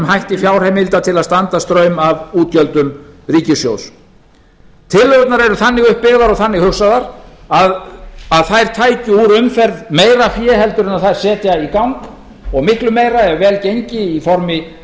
hætti fjárheimilda til að standa straum af útgjöldum ríkissjóðs tillögurnar eru þannig uppbyggðar og þannig hugsaðar að þær tækju úr umferð meira fé heldur en þær setja í gang og miklu meira ef vel gengi í formi þess